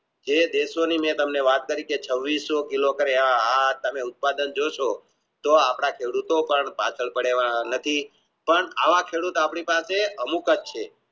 એ દેશો ની મેં તા, મને વાત કરી છે પણ આવા ખેડૂતો પાસે